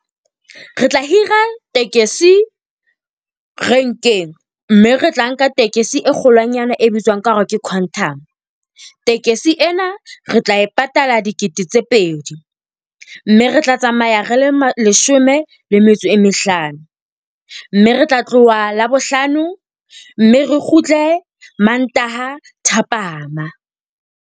Re tla hira tekesi renkeng, mme re tla nka tekesi e kgolwanyane e bitswang ka hore ke Quantum. Tekesi ena, re tla e patala dikete tse pedi. Mme re tla tsamaya re le leshome le metso e mehlano, mme re tla tloha Labohlano mme re kgutle Mantaha thapama.